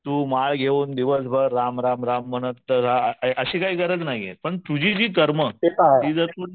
तू माळ घेऊन दिवस भर राम राम म्हणत राहा अशी काही गरज नाहीये पण तुझी जी कर्मं